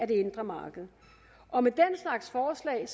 det indre marked og med den slags forslag